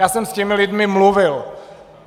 Já jsem s těmi lidmi mluvil.